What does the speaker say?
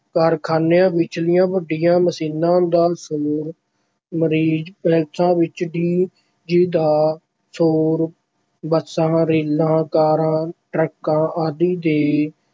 ਕਾਰਖ਼ਾਨਿਆਂ ਵਿਚਲੀਆਂ ਵੱਡੀਆਂ ਮਸ਼ੀਨਾਂ ਦਾ ਸ਼ੋਰ marriage ਪੈਲਸਾਂ ਵਿੱਚ DJ ਦਾ ਸ਼ੋਰ, ਬੱਸਾਂ, ਰੇਲਾਂ, ਕਾਰਾਂ, ਟਰੱਕਾਂ ਆਦਿ ਦੇ